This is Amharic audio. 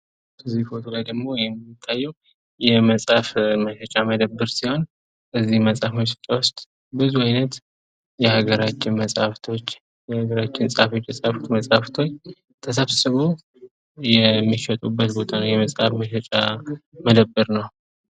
እዚህ ምስል ደግሞ የሚታየው የመጽሀፍ መሸጫ መደብር ሲሆን ፤ በዚህ መጽሐፍ ቤት ውስጥ ብዙ አይነት የሀገራችን መጽሐፎች የሀገራችን ፀሐፊዎች የፃፋቸው መጽሐፎች ተሰብስበው የሚሸጡበት ቦታ ወይም መደብር ነው።